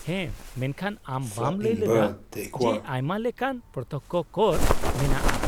-ᱦᱮᱸ, ᱢᱮᱱᱠᱷᱟᱱ ᱟᱢ ᱵᱟᱢ ᱞᱟᱹᱭ ᱞᱮᱫᱟ, ᱡᱮ ᱟᱭᱢᱟ ᱞᱮᱠᱟᱱ ᱯᱨᱚᱛᱛᱚᱠᱽᱠᱷᱚ ᱠᱚᱨ ᱢᱮᱱᱟᱜᱼᱟ ?